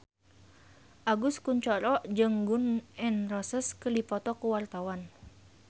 Agus Kuncoro jeung Gun N Roses keur dipoto ku wartawan